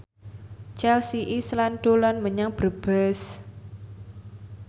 Chelsea Islan dolan menyang Brebes